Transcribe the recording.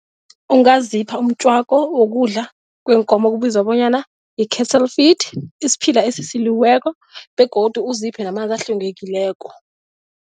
Ungazipha umtjwako wokudla kweenkomo okubizwa bonyana yi-cattle feed, isiphila esisiliweko begodu uziphe namanzi ehlwengekileko.